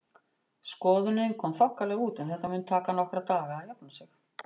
Skoðunin kom þokkalega út en þetta mun taka nokkra daga að jafna sig.